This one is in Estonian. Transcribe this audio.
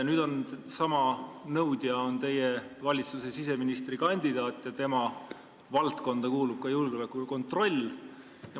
Nüüd on sama nõudja teie valitsuse siseministri kandidaat ja tema valdkonda kuulub ka julgeoleku kontroll.